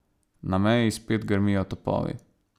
Na meji spet grmijo topovi.